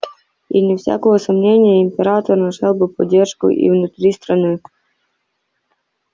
и вне всякого сомнения император нашёл бы поддержку и внутри страны